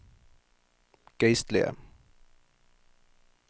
geistlige